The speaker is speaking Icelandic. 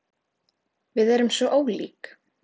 Við erum svo ólík.